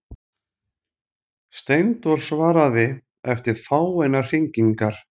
Steindór svaraði eftir fáeinar hringingar.